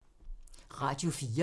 Radio 4